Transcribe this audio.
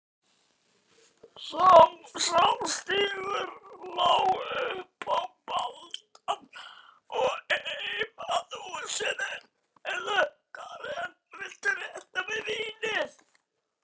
Sá stígur lá upp á balann og heim að húsinu.